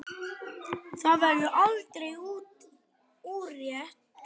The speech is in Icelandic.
Það verður aldrei úrelt.